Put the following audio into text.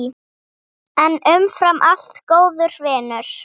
En umfram allt góður vinur.